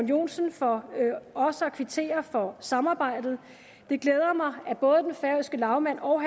joensen for også at kvittere for samarbejdet det glæder mig at både den færøske lagmand og